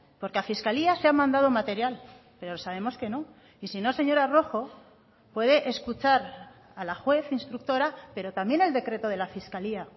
porque a fiscalía se ha mandado material pero sabemos que no y si no señora rojo puede escuchar a la juez instructora pero también el decreto de la fiscalía